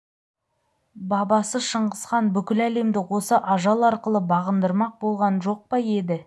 бабасы шыңғысхан бүкіл әлемді осы ажал арқылы бағындырмақ болған жоқ па еді